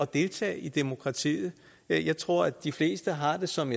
deltage i demokratiet jeg tror de fleste har det som